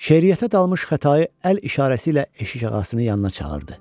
Şeiriyyətə dalmış Xətayi əl işarəsi ilə eşikağasının yanına çağırdı.